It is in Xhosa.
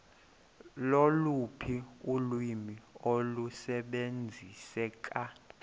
loluphi ulwimi olusebenziseka